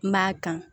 N b'a kan